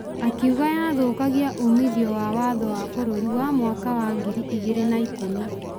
akiuga yathũkagia umithio wa watho wa bũrũri wa mwaka wa ngiri igĩrĩ na ikũmi.